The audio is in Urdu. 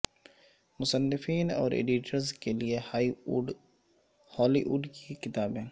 مصنفین اور ایڈیٹرز کے لئے ہالی ووڈ کی کتابیں